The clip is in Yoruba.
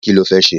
Kí lo fẹ́ ṣe?